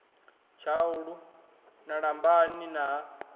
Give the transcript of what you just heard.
tshaulu ha lambani na ha